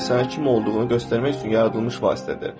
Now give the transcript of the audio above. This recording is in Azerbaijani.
Bu sadəcə sənin kim olduğunu göstərmək üçün yaradılmış vasitədir.